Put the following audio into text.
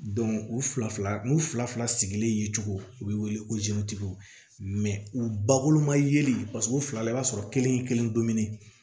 u fila fila n'u fila fila sigilen ye cogo u bɛ wele ko u bakurunba yeli u fila la i b'a sɔrɔ kelen kelen don kelen